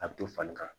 A bɛ to falen ka